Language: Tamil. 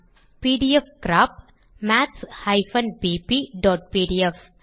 பிடிஎஃப்கிராப் maths bpபிடிஎஃப்